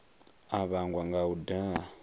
a vhangwa nga u daha